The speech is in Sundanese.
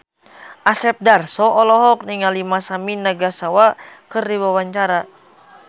Asep Darso olohok ningali Masami Nagasawa keur diwawancara